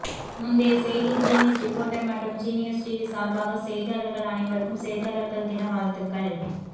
முந்தைய செய்தி Genius Reporter மற்றும் ஜீனியஸ் டிவி சார்பாக செய்தியாளர்கள் அனைவருக்கும் செய்தியாளர்கள் தின வாழ்த்துக்கள்